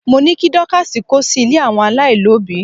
mo ni kí Dorcas ko sí ilè àwọn alailobi